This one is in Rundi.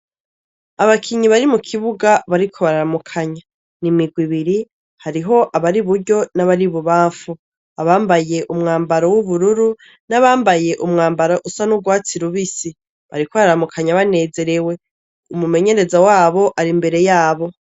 Abakinyi bari mu kibuga bariko bararamukanya. N'imigwi ibiri ,hariho abari iburyo n'abari ibubamfu. Abambaye umwambaro w'ubururu n'abambaye umwabaro usa n'urwatsi rubisí. Bariko bararamukanya banezerewe. Umu menyereza w'abo ari imbere y'abo.